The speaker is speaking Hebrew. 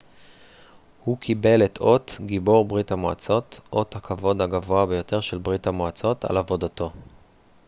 הוא קיבל את אות גיבור ברית המועצות אות הכבוד הגבוה ביותר של ברית המועצות על עבודתו